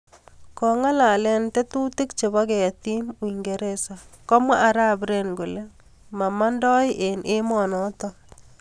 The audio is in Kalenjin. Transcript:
Kongong'alalee tetutik chepoo ketiim ungeresaa komwaa arap Ren kolee mamandoi en emoo notok